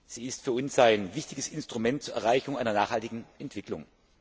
Sie ist für uns ein wichtiges Instrument zur Erreichung einer nachhaltigen Entwicklung.